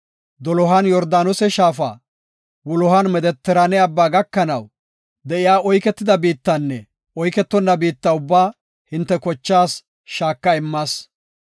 Dolohan Yordaanose shaafa, wulohan Medetiraane abba gakanaw de7iya oyketida biittanne oyketonna biitta ubbaa hinte kochaas shaaka immas.